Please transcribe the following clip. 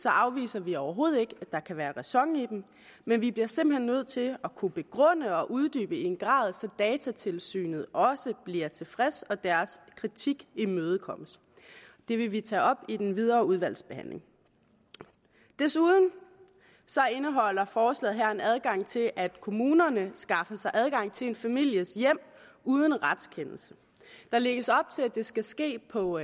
afviser vi overhovedet ikke at der kan være ræson i dem men vi bliver simpelt hen nødt til at kunne begrunde og uddybe i en grad så datatilsynet også bliver tilfredse og deres kritik imødekommet det vil vi tage op i den videre udvalgsbehandling desuden indeholder forslaget her en adgang til at kommunerne skaffer sig adgang til en families hjem uden retskendelse der lægges op til at det skal ske på